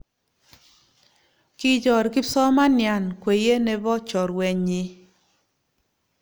Kichor kipsomanian kweye ne bo chorwenyii